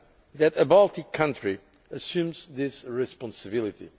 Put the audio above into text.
that a Baltic country assumes this responsibility.